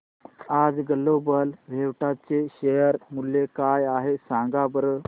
आज global Vectra चे share मूल्य काय आहे सांगा बरं